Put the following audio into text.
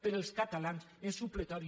per als catalans és supletori